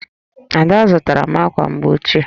Ada zụtara m ákwà mgbochi